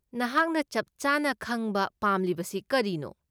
ꯅꯍꯥꯛꯅ ꯆꯞꯆꯥꯅ ꯈꯪꯕ ꯄꯥꯝꯂꯤꯕꯁꯤ ꯀꯔꯤꯅꯣ?